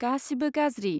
गासिबो गाज्रि।